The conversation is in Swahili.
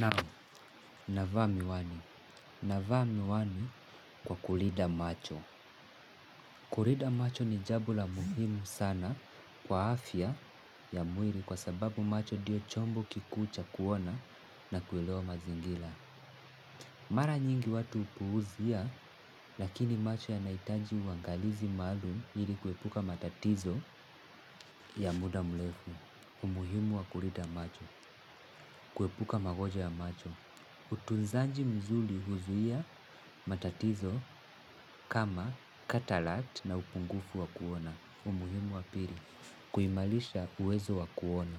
Naam, navaa miwani. Navaa miwani kwa kulida macho. Kulida macho ni jabo la muhimu sana kwa afya ya mwiri kwa sababu macho diyo chombo kikuu cha kuona na kueleo mazingila. Mara nyingi watu upuuzia lakini macho yanaitaji uangalizi maalum iri kuepuka matatizo ya muda mlefu. Umuhimu wa kulida macho. Kuepuka magonjwa ya macho. Utunzanji muzuli huzuia matatizo kama katalact na upungufu wa kuona. Umuhimu wa piri. Kuimalisha uwezo wa kuona.